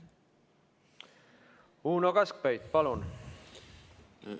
Uno Kaskpeit, palun!